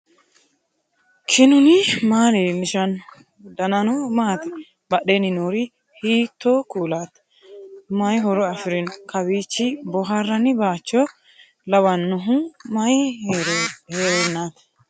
knuni maa leellishanno ? danano maati ? badheenni noori hiitto kuulaati ? mayi horo afirino ? kawiichi boohrranni bacho lawannohu mayi heerennati